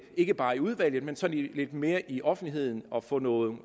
ikke bare i udvalget men sådan lidt mere i offentligheden og få nogle